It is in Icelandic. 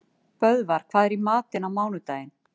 Böðvar, hvað er í matinn á mánudaginn?